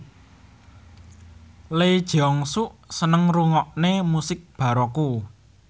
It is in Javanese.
Lee Jeong Suk seneng ngrungokne musik baroque